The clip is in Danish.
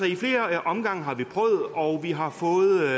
i flere omgange og vi har fået